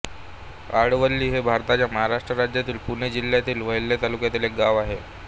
आडवली हे भारताच्या महाराष्ट्र राज्यातील पुणे जिल्ह्यातील वेल्हे तालुक्यातील एक गाव आहे